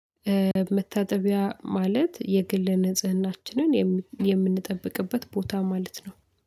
መታጠቢያ ማለት የግል ንጽህናችንን የምንጠብቅበት ቦታ ማለት ነው